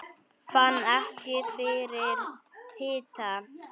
Fann ekki fyrir hita